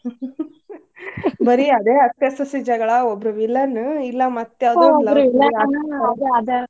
ಬರೀ ಅದೇ ಅತ್ತೆ ಸೋಸಿ ಜಗ್ಳಾ ಒಬ್ರೂ villain ಇಲ್ಲಾ ಮತ್ ಯಾವ್ ಯಾವ್ದೋ .